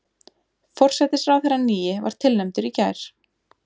Forsætisráðherrann nýi var tilnefndur í gær